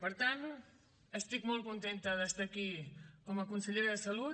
per tant estic molt contenta d’estar aquí com a consellera de salut